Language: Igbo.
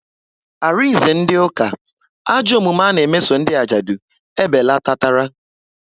Arinze ndị ụka, ajọ omume ana meso ndị ajadu ebelatatara